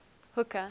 hooker